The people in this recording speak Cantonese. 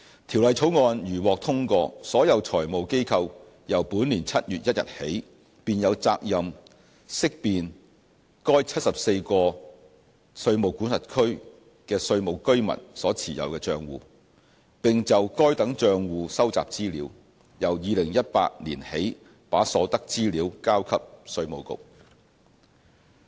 《條例草案》如獲通過，所有財務機構由本年7月1日起，便有責任識辨該74個稅務管轄區的稅務居民所持有的帳戶，並就該等帳戶收集資料，由2018年起把所得資料交給稅務局。